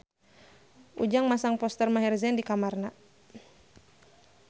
Ujang masang poster Maher Zein di kamarna